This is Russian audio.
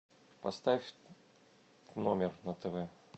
поставь номер на тв